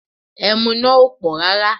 Ẹmu náà ò pọ̀ rárá